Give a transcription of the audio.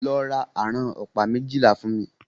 Lọ ra àrán ọ̀pá méjìlá fún mí!